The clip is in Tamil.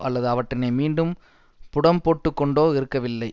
அல்லது அவற்றினை மீண்டும் புடம்போட்டுக்கொண்டோ இருக்கவில்லை